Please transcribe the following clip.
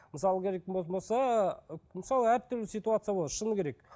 мысалы алгоритм болатын болса мысалы әртүрлі ситуация болады шыны керек